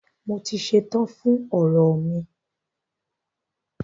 Mo ti ṣetán fún ọ̀rọ̀ mi.